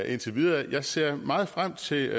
indtil videre jeg ser meget frem til